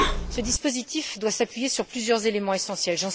Ce dispositif doit s'appuyer sur plusieurs éléments essentiels.